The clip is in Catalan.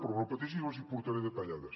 però no pateixi les hi portaré detallades